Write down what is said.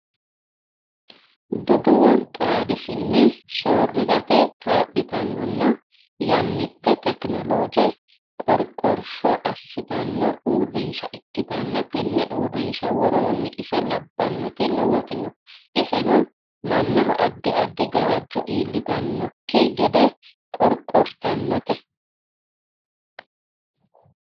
Duduwo xaadisine soorirate kaa'littanonna yannite tekinoloje qoriqorsho assittano uurrinsha ikkittanna tene uurrinsha worooni ise labbanoti lowoti no iseno mannaho addi addi gawajo iillitanokki gede qoriqortanote.